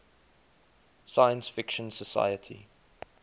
science fiction society